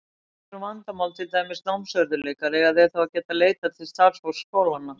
Ef upp kemur vandamál, til dæmis námsörðugleikar, eiga þeir að geta leitað til starfsfólks skólanna.